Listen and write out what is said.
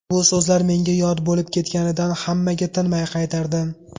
Bu so‘zlar menga yod bo‘lib ketganidan hammaga tinmay qaytarardim.